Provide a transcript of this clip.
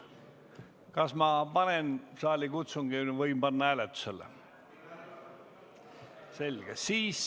Kas ma käivitan saalikutsungi või võin panna eelnõu kohe hääletusele?